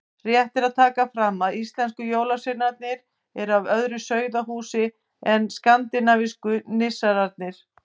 Rétt er að taka fram að íslensku jólasveinarnir eru af öðru sauðahúsi en skandinavísku nissarnir.